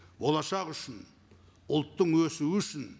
болашақ үшін ұлттың өсіу үшін